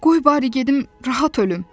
Qoy bari gedim rahat ölüm.